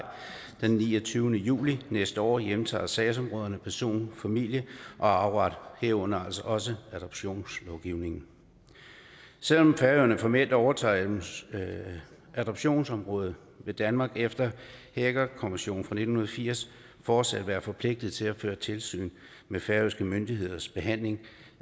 den niogtyvende juli næste år hjemtager sagsområderne person familie og arveret herunder altså også adoptionslovgivningen selv om færøerne formelt overtager adoptionsområdet vil danmark efter haagerkonventionen fra nitten firs fortsat være forpligtet til at føre tilsyn med færøske myndigheders behandling